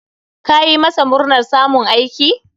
Ka yi masa murnar samun aiki?